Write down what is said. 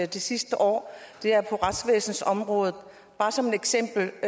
det sidste år det er retsvæsenets område bare som et eksempel